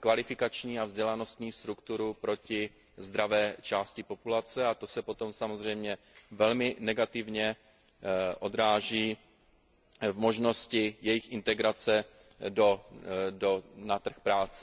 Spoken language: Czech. kvalifikační a vzdělanostní strukturu proti zdravé části populace, a to se potom samozřejmě velmi negativně odráží v možnosti jejich integrace na trh práce.